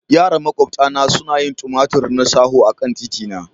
Yara maƙwabta na suna yin tumatur na shaho akan titina.